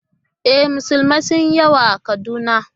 E, musulmi sun yi yawa a Kaduna